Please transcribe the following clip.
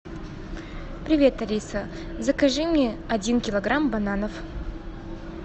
привет алиса закажи мне один килограмм бананов